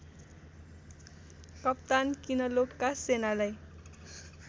कप्तान किनलोकका सेनालाई